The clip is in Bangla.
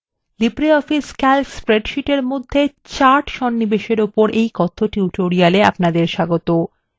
libreoffice calc স্প্রেডশীটের মধ্যে charts সন্নিবেশএর ওপর এই কথ্য tutorial এ আপনাদের স্বাগতো